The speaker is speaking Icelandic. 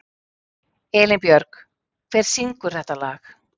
Elínbjörg, hver syngur þetta lag?